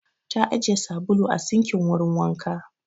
Ta ajiye sabulu a sinkin wurin wanka.